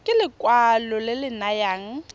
ke lekwalo le le nayang